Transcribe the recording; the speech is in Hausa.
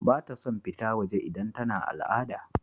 Bata son fita waje idan tana al'ada.